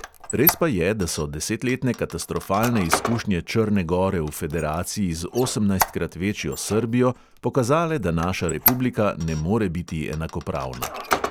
Res pa je, da so desetletne katastrofalne izkušnje črne gore v federaciji z osemnajstkrat večjo srbijo pokazale, da naša republika ne more biti enakopravna.